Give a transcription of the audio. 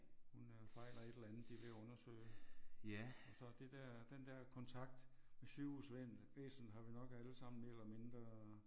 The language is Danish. Hun øh fejler et eller andet de vil undersøge. Så det der den der kontakt med sygehus væsenet har vi nok alle sammen mere eller mindre